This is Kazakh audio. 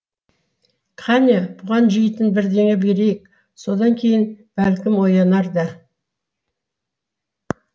қане бұған жейтін бірдеңе берейік содан кейін бәлкім оянар да